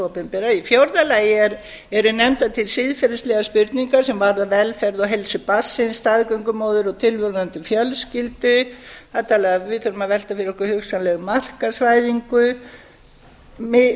opinbera í fjórða lagi eru nefndar til siðferðislegar spurningar sem varða velferð og heilsu barnsins staðgöngumóðir og tilvonandi fjölskyldu við þurfum að velta fyrir okkur hugsanlega markaðsvæðingu